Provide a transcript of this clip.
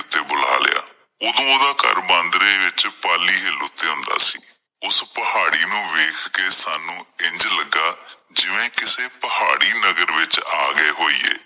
ਤੇ ਬੁਲਾ ਲਿਆ। ਓਦੋਂ ਓਹਦਾ ਘਰ ਬਾਂਦਰੇ ਵਿੱਚ ਪਾਲੀ ਹਿਲ ਤੇ ਹੁੰਦਾ ਸੀ। ਓਸ ਪਹਾੜੀ ਨੂੰ ਵੇਖ ਕੇ ਸਾਨੂੰ ਇੰਝ ਲੱਗਾ ਜਿਵੇਂ ਕਿਸੇ ਪਹਾੜੀ ਨਗਰ ਵਿੱਚ ਆ ਗਏ ਹੋਈਏ।